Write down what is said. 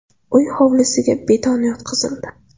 Uy hovlisiga beton yotqizildi.